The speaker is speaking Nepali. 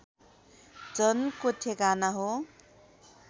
जनको ठेगाना हो